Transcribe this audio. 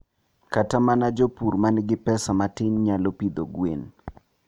Kata mana jopur ma nigi pesa matin nyalo pidho gwen.